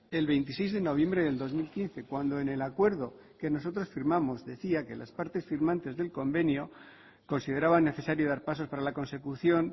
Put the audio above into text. el veintiséis de noviembre del dos mil quince cuando en el acuerdo que nosotros firmamos decía que las partes firmantes del convenio consideraban necesario dar pasos para la consecución